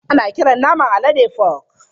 Ana kiran naman alade fok.